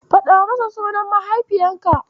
Faɗa masa sunan mahaifinka.